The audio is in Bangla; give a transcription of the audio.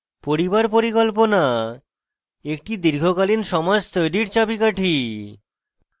পরিবার পরিকল্পনা একটি দীর্ঘকালীন সমাজ তৈরীর চাবিকাঠি